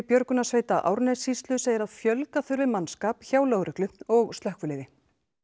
björgunarsveita Árnessýslu segir að fjölga þurfi mannskap hjá lögreglu og slökkviliði